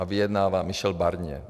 A vyjednává Michel Barnier.